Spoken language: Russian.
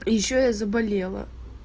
ещё я заболела